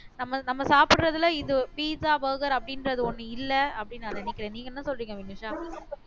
நம்ம நம்ம சாப்பிடுறதுல இது pizza burger அப்படின்றது ஒண்ணு இல்ல அப்படின்னு நான் நினைக்கிறேன் நீங்க என்ன சொல்றீங்க வினுஷா